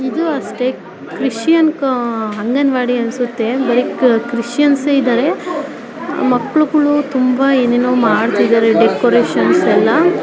ಇದು ಅಷ್ಟೇ ಕ್ರಿಶ್ಚಿಯನ್ ಆಹ್ಹ್ ಅಂಗನವಾಡಿ ಅನ್ಸುತ್ತೆ ಬರೀ ಕ್ರಿಶ್ಚಿಯನ್ಸೆ ಇದಾರೆ ಮಕ್ಕಳುಗಳು ತುಂಬ ಏನೇನೋ ಮಾಡ್ತ್ತಿದ್ದಾರೆ ಡೆಕೋರೇಷನ್ಸ್ ಎಲ್ಲ --